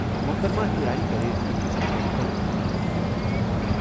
محترمہ ایرانی کَرِ أکِس میڈیکل میلہِ تہِ افتتاح۔